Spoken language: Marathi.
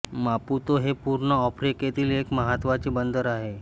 मापुतो हे पूर्व आफ्रिकेतील एक महत्त्वाचे बंदर आहे